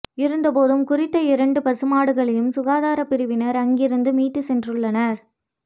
இருந்த போதும் குறித்த இரண்டு பசுமாடுகளையும் சுகாதார பிரிவினா் அங்கிருந்து மீட்டுச் சென்றுள்ளனா்